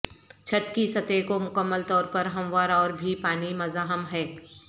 چھت کی سطح کو مکمل طور پر ہموار اور بھی پانی مزاحم ہے